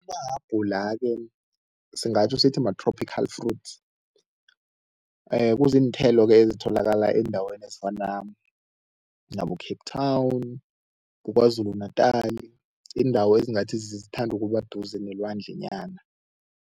Amahabhula-ke singatjho sithi ma-tropical fruits, Kuziinthelo-ke ezitholakala eendaweni ezifana nabo-Cape Town, kuKwaZulu Natal, iindawo ezingathi zithanda ukuba duze nelwandlenyana.